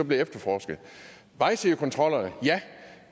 det efterforsket vejsidekontrollerne